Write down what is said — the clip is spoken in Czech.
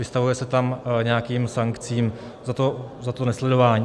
Vystavuje se tam nějakým sankcím za to nesledování.